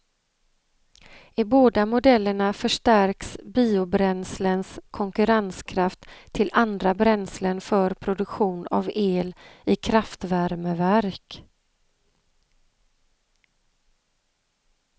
I båda modellerna förstärks biobränslens konkurrenskraft till andra bränslen för produktion av el i kraftvärmeverk.